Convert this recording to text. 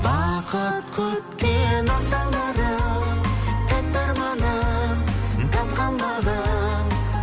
бақыт күткен ақ таңдарым тәтті арманым тапқан бағым